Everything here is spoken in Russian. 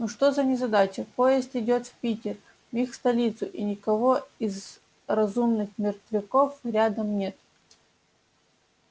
ну что за незадача поезд идёт в питер в их столицу и никого из разумных мертвяков рядом нет